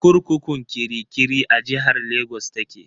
Kurkukun kirikiri a jihar Lagos ta ke.